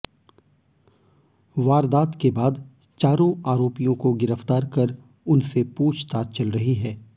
वारदात के बाद चारों आरोपियों को गिरफ्तार कर उनसे पूछताछ चल रही है